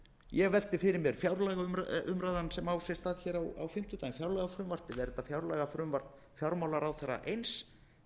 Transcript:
ég velti fyrir mér fjárlagaumræðan sem á sér stað á fimmtudaginn fjárlagafrumvarpið er þetta fjárlagafrumvarp fjármálaráðherra eins eða er þetta